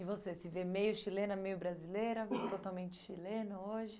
E você, se vê meio chilena, meio brasileira, vive totalmente chilena hoje?